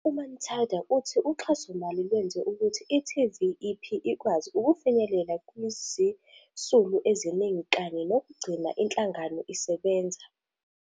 U-Manthada uthi uxhasomali lwenze ukuthi i-TVEP ikwazi ukufinyelela kwizisulu eziningi kanye nokugcina inhlangano isebenza.